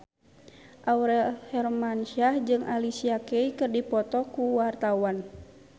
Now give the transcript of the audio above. Aurel Hermansyah jeung Alicia Keys keur dipoto ku wartawan